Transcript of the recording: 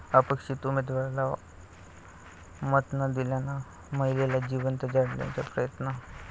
अपेक्षित उमेदवाराला मत न दिल्यानं महिलेला जिवंत जाळण्याचा प्रयत्न